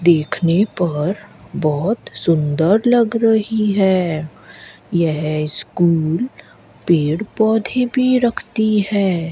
देखने पर बहोत सुंदर लग रही है यह स्कूल पेड़ पौधे भी रखती है।